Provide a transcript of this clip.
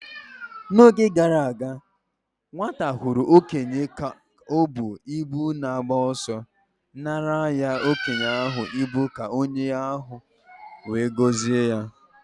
N'oge gara aga, nwata hụrụ okenye ka o bu ibu na-agba ọsọ nara okenye ahụ ibu ka okenye ahụ wee gozie ya.